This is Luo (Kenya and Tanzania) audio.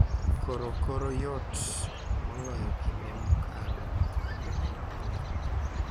Koro koro yot moloyo kinde mokalo mondo ji ong’e,